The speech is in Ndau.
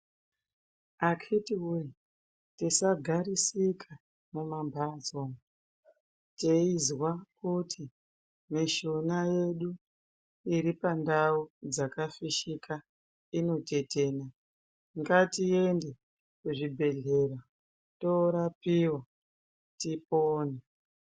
Akhiti voye tisagarisika mumamhatso teizwa kuti mishuna yedu iri pandau dzakafishika inotetena. Ngatiende kuzvibhedhlera torapiva tipone.